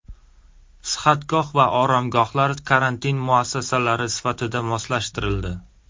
Sihatgoh va oromgohlar karantin muassasalari sifatida moslashtirildi.